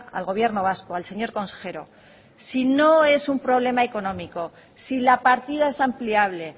al gobierno vasco al señor consejero si no es un problema económico si la partida es ampliable